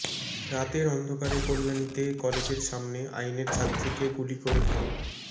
রাতের অন্ধকারে কল্যাণীতে কলেজের সামনে আইনের ছাত্রীকে গুলি করে খুন